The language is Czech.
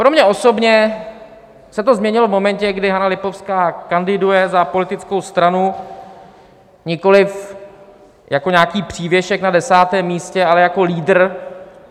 Pro mě osobně se to změnilo v momentě, kdy Hana Lipovská kandiduje za politickou stranu, nikoliv jako nějaký přívěsek na desátém místě, ale jako lídr.